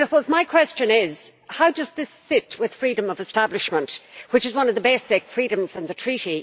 My question is how does this sit with freedom of establishment, which is one of the basic freedoms in the Treaty?